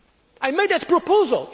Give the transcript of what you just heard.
I made that proposal.